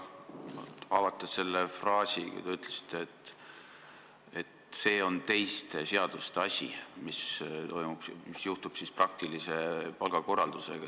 Võib-olla avate selle oma fraasi, et see on teiste seaduste asi, mis juhtub praktilise palgakorraldusega.